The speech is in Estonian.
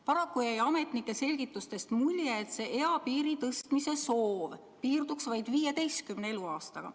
Paraku jäi ametnike selgitustest mulje, et eapiiri tõstmise soov piirduks vaid 15. eluaastaga.